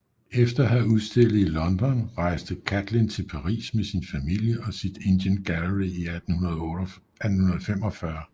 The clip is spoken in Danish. Efter at have udstillet i London rejste Catlin til Paris med sin familie og sit Indian Gallery i 1845